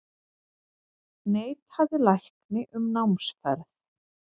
Neitaði lækni um námsferð